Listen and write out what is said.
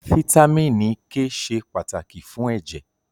Fítámìnì K ṣe pàtàkì fún ẹ̀jẹ̀.